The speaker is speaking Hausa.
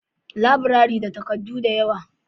laburare na da takardu da yawa